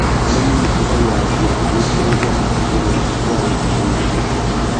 Arĩmi mahũthagĩra njĩra gũitĩrĩria maĩ rĩria kwarĩte mũno.